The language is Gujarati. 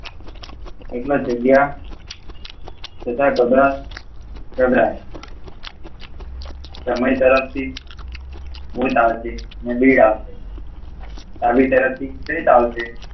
એટલે જગ્યા તથા તબલા સમય તરફ થી તેમની તરફથી આલી તરફથી ચેત આવશે